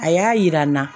A y'a yira n na